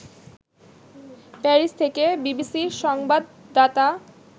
Paris থেকে বিবিসির সংবাদদাতা